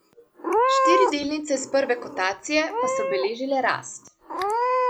Štiri delnice iz prve kotacije pa so beležile rast.